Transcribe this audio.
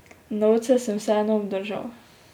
Novce sem vseeno obdržal.